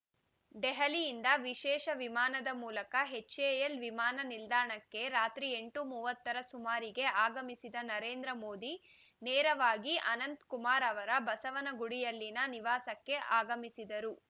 ದೆಹಲಿಯಿಂದ ವಿಶೇಷ ವಿಮಾನದ ಮೂಲಕ ಎಚ್‌ಎಎಲ್‌ ವಿಮಾನ ನಿಲ್ದಾಣಕ್ಕೆ ರಾತ್ರಿ ಎಂಟು ಮೂವತ್ತರ ಸುಮಾರಿಗೆ ಆಗಮಿಸಿದ ನರೇಂದ್ರ ಮೋದಿ ನೇರವಾಗಿ ಅನಂತಕುಮಾರ್‌ ಅವರ ಬಸವನಗುಡಿಯಲ್ಲಿನ ನಿವಾಸಕ್ಕೆ ಆಗಮಿಸಿದರು